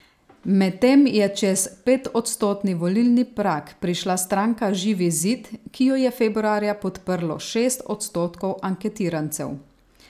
Medtem je čez petodstotni volilni prag prišla stranka Živi zid, ki jo je februarja podprlo šest odstotkov anketirancev.